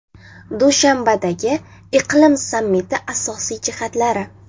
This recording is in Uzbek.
Dushanbadagi iqlim sammiti asosiy jihatlari.